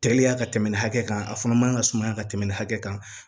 Teliya ka tɛmɛ nin hakɛ kan a fana man kan ka sumaya ka tɛmɛ nin hakɛ kan